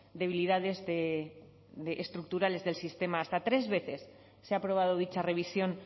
debilidades estructurales del sistema hasta tres veces se ha aprobado dicha revisión